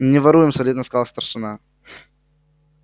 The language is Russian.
не воруем солидно сказал старшина